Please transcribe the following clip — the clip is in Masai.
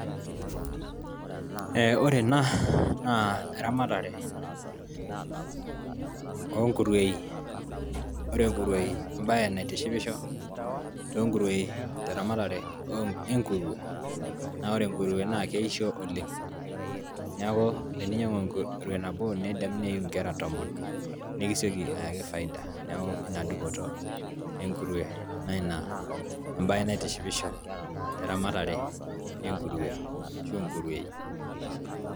Ee ore ena naa eramatare oonkurueyi, ore nkurueyi embaye naitishipisho toonkurueyi teramatare enkurue, naa ore enkurue naa keisho oleng neeku eninyiang'u enkurue nabo neyiu inkera tomon nekisioki ayaki faida neeku ina dupoto enkurue naa ina embaye naitishipisho teramatare enkurue arashu inkurueyi.